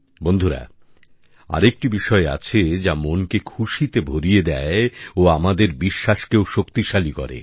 বন্ধুরা আরেকটি বিষয় আছে যা মনকে খুশিতে ভরিয়ে দেয় ও আমাদের বিশ্বাসকেও শক্তিশালী করে